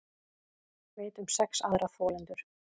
Veit um sex aðra þolendur